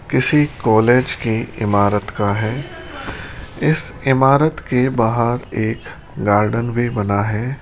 किसी कॉलेज की इमारत का है इस इमारत के बाहर एक गार्डन भी बना है।